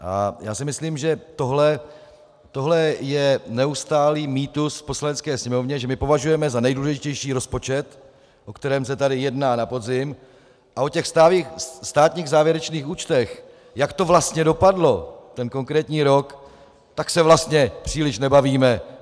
A já si myslím, že tohle je neustálý mýtus v Poslanecké sněmovně, že my považujeme za nejdůležitější rozpočet, o kterém se tady jedná na podzim, a o těch státních závěrečných účtech, jak to vlastně dopadlo, ten konkrétní rok, tak se vlastně příliš nebavíme.